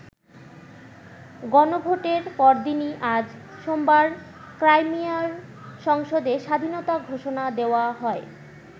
গণভোটের পরদিনই আজ সোমবার ক্রাইমিয়ার সংসদে স্বাধীনতা ঘোষণা দেওয়া হয়।